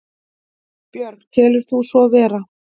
Björg: Telur þú svo vera?